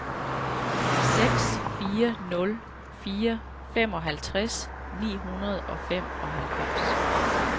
seks fire nul fire femoghalvtreds ni hundrede og femoghalvfems